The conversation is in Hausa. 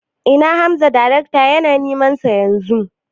Ina Hamza darekta yana neman sa Yanzu